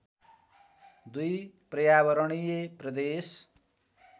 दुई पर्यावरणीय प्रदेश